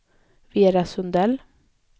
Vera Sundell